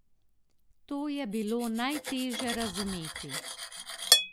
To je bilo najteže razumeti.